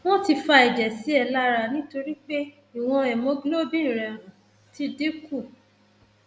wọn ti fa ẹjẹ sí ẹ lára nítorí pé ìwọn hemoglobin rẹ um ti dín kù